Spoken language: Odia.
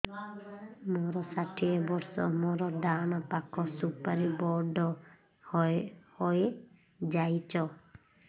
ମୋର ଷାଠିଏ ବର୍ଷ ମୋର ଡାହାଣ ପାଖ ସୁପାରୀ ବଡ ହୈ ଯାଇଛ